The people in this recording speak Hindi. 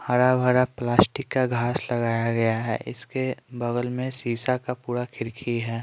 हरा भरा प्लास्टिक का घास लगाया गया है इसके बगल में शीशा का पूरा खिरखी है।